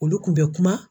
Olu kun bɛ kuma